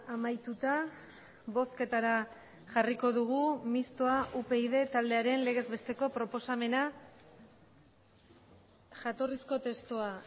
amaituta bozketara jarriko dugu mistoa upyd taldearen legez besteko proposamena jatorrizko testua